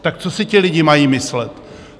Tak co si ti lidi mají myslet?